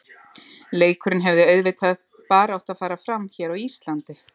Leikurinn hefði auðvitað bara átt að fara fram hér á Íslandi.